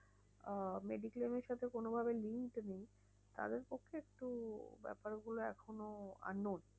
আহ mediclaim এর সাথে কোনো ভাবে link নেই, তাদের পক্ষে একটু ব্যাপারগুলো এখনো unknown.